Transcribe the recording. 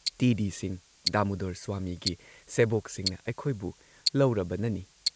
T D Singha (Damodar Swami) ꯒꯤ ꯁꯦꯕꯣꯛꯁꯤꯡꯅ ꯑꯩꯈꯣꯏꯕꯨ ꯂꯧꯔꯕꯅꯅꯤ ꯫